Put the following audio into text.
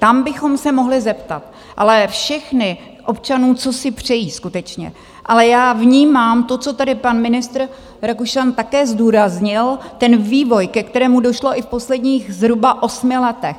Tam bychom se mohli zeptat, ale všech občanů, co si přejí skutečně, ale já vnímám to, co tady pan ministr Rakušan také zdůraznil, ten vývoj, ke kterému došlo i v posledních zhruba osmi letech.